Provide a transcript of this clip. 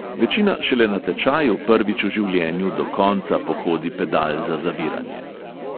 Večina šele na tečaju prvič v življenju do konca pohodi pedal za zaviranje.